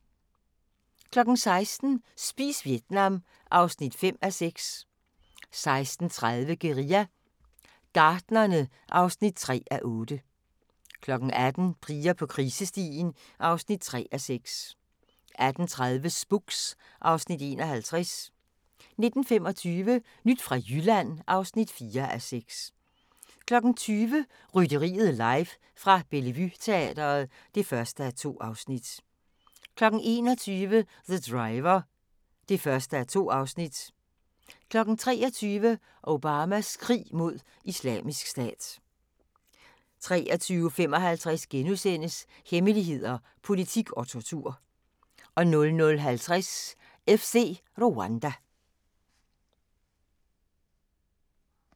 16:00: Spis Vietnam (5:6) 16:30: Guerilla Gartnerne (3:8) 18:00: Piger på krisestien (3:6) 18:30: Spooks (Afs. 51) 19:25: Nyt fra Jylland (4:6) 20:00: Rytteriet live fra Bellevue Teatret (1:2) 21:00: The Driver (1:2) 23:00: Obamas krig mod Islamisk Stat 23:55: Hemmeligheder, politik og tortur * 00:50: FC Rwanda